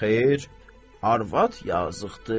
Xeyr, arvad yazıqdır.